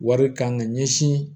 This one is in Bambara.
Wari kan ka ɲɛsin